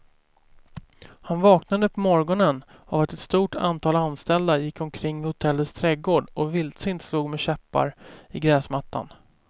Han vaknade på morgonen av att ett stort antal anställda gick omkring i hotellets trädgård och vildsint slog med käppar i gräsmattan.